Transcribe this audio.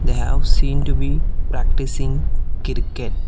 They have seem to be practicing cricket